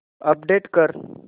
update कर